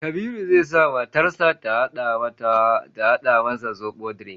Kabiru zai sa matar sa ta hada masa zobo drink